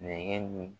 Nɛgɛn